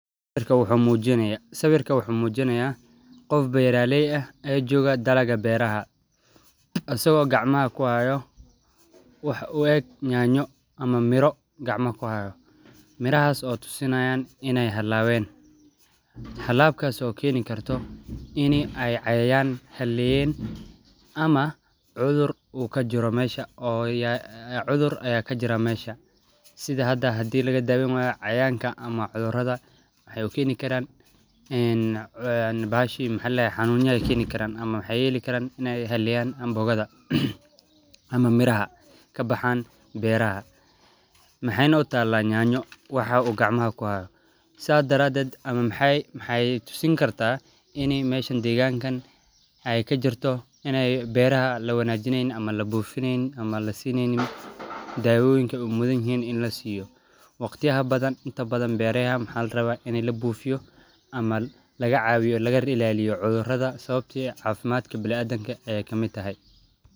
Sawiirka wuxuu mujinaaya qof beeraleey ah ee jooga dalaga beeraha, asago gacmaha kuhaayo wax u eg nyanyo ama miro gacmaha kuhaayo, mirahaas oo tusinaayan inaay halaaben, halaabkaas oo keeni karto ini aay cayayaan haleeyen ama cudur uu kajiro meesha, oo cudur ayaa kajiraa meesha, sidha hada hadii laga daweyn waayo cayayaanka ama cudurada waxaay keeni xanuunya ama waxaay yeeli karaan in aay haleeyan amboogada ama miraha kabaxaan beeraha, maxeeyna utaala nyanyo waxa uu gacmaha kuhaayo, sidhaa daraadeed waxeey tusin kartaa ini meeshan deegaankan aay kajirto in aay beeraha lawaanijeynin ama labuufineynin, ama lasiineynin dawooyinka aay mudan yihiin in lasiiyo, waqtiyaha badan inta badan beerayaha waxaa larabaa in labuufiyo ama laga caawiyo lagana ilaaliyo cudurada Sabato ah cafimaadka biniadamka ayeey kamid tahay.